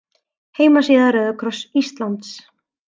Heimasíða Rauða kross Íslands